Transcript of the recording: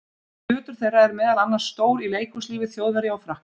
Hlutur þeirra er meðal annars stór í leikhúslífi Þjóðverja og Frakka.